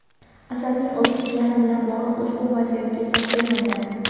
Asadning o‘zi jiyani bilan bog‘liq ushbu vaziyatga izoh bermagan.